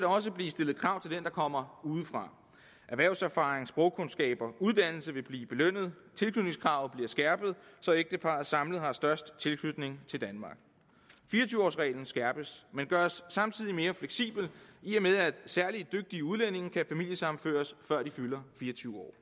også blive stillet krav til den der kommer udefra erhvervserfaring sprogkundskaber uddannelse vil blive belønnet tilknytningskravet bliver skærpet så et ægtepar samlet skal have størst tilknytning til danmark fire og tyve års reglen skærpes men gøres samtidig mere fleksibel i og med at særlig dygtige udlændinge kan familiesammenføres før de fylder fire og tyve år